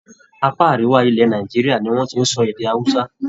Apá Àríwá ilẹ̀ Nàìjíríà ni wọ́n ti ń sọ èdè Hausa.